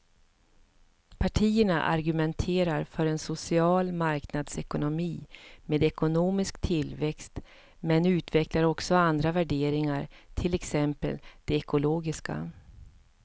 Partierna argumenterar för en social marknadsekonomi med ekonomisk tillväxt men utvecklar också andra värderingar, till exempel de ekologiska.